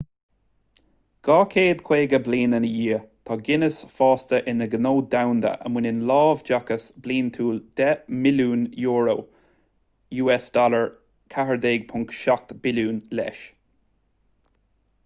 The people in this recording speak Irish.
250 bliain ina dhiadh tá guinness fásta ina ghnó domhanda a mbaineann láimhdeachas bliantúil 10 mbilliún euro us$14.7 billiún leis